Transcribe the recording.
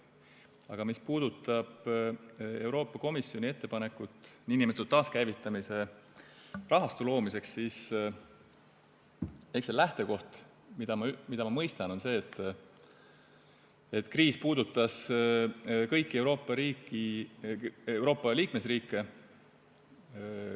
Aga mis puudutab Euroopa Komisjoni ettepanekut nn taaskäivitamise rahastu loomiseks, siis see lähtekoht, mida ma mõistan, on see, et kriis puudutas kõiki Euroopa Liidu liikmesriike.